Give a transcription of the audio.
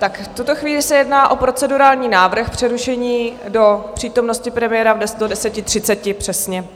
B tuto chvíli se jedná o procedurální návrh přerušení do přítomnosti premiéra do 10.30 přesně.